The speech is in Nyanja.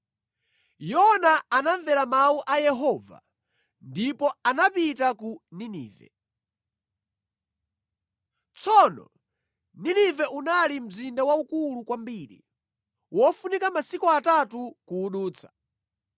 Yona anamvera mawu a Yehova ndipo anapita ku Ninive. Tsono Ninive unali mzinda waukulu kwambiri; wofunika masiku atatu kuwudutsa.